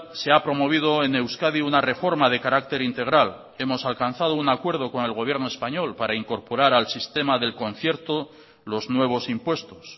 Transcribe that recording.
se ha promovido en euskadi una reforma de carácter integral hemos alcanzado un acuerdo con el gobierno español para incorporar al sistema del concierto los nuevos impuestos